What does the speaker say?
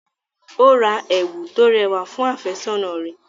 Ó ra ẹ̀wù tó rẹwà fún àfẹ́sọ́nà rẹ̀.